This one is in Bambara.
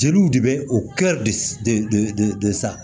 Jeliw de bɛ o de sa